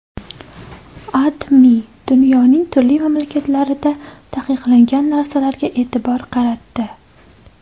AdMe dunyoning turli mamlakatlarida taqiqlangan narsalarga e’tibor qaratdi .